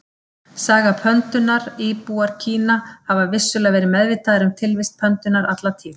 Saga pöndunnar Íbúar Kína hafa vissulega verið meðvitaðir um tilvist pöndunnar alla tíð.